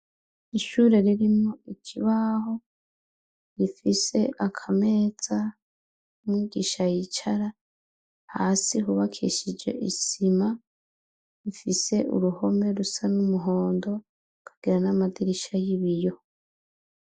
Ishure ririmwo ikibaho rifise akameza umwigisha yicara, hasi hubakishije isima, rifise uruhome rusa n'umuhondo rikagira n'amadirisha y'ibiyo.